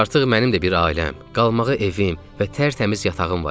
Artıq mənim də bir ailəm, qalmağa evim və tərtəmiz yatağım var idi.